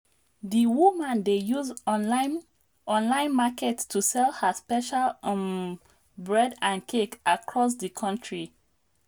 di woman dey use online online market to sell her special um bread and cake across di country.